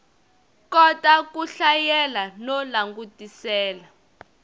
kota ku hlayela no langutisela